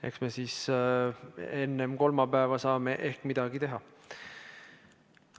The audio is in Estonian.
Ehk me siis enne kolmapäeva saame midagi teha.